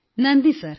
നന്ദി സർ